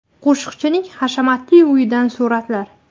Qo‘shiqchining hashamatli uyidan suratlar.